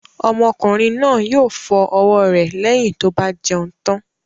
Ọmọkùnrin náà yóò fọ ọwọ́ rẹ̀ lẹ́yìn tó bá jẹun tán